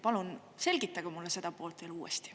Palun selgitage mulle seda poolt uuesti.